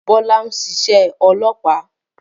Bọ́lá n ṣiṣẹ́ olópàá